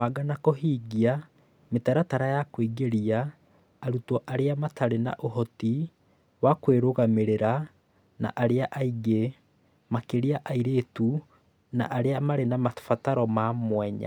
Kũbanga na kũhingia mĩtaratara ya kũingĩria arutwo arĩa matarĩ na ũhoti wa kwĩrũgamĩria na arĩa angĩ, makĩria airĩtu na arĩa marĩ na mabataro ma mwanya